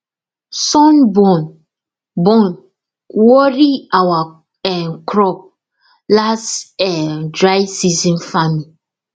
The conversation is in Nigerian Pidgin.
sun burn burn worry our um crop last um dry season farming